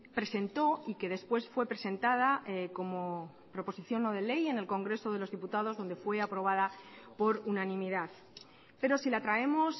presentó y que después fue presentada como proposición no de ley en el congreso de los diputados donde fue aprobada por unanimidad pero si la traemos